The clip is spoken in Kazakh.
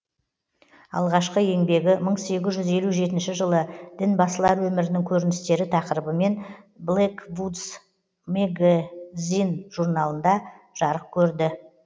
алғашқы еңбегі мың сегіз жүз елу жетінші жылы дінбасылар өмірінің көріністері тақырыбымен блэквудз мэгэзин журналында жарық көрді